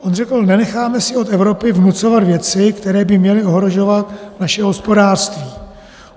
On řekl: Nenecháme si od Evropy vnucovat věci, které by měly ohrožovat naše hospodářství.